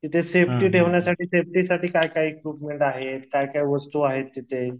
तिथे सेफ्टी ठेवण्यासाठी सेफ्टीसाठी काय काय इक्विपमेंट आहेत काय काय वस्तू आहेत तिथे?